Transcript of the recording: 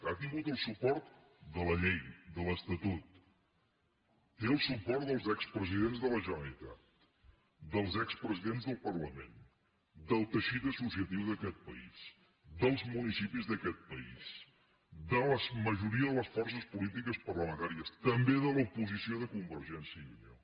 ha tingut el suport de la llei de l’estatut té el suport dels expresidents de la generalitat dels expresidents del parlament del teixit associatiu d’aquest país dels municipis d’aquest país de la majoria de les forces polítiques parlamentàries també de l’oposició de convergència i unió